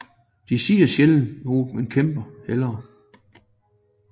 De siger sjældent noget men kæmper hellere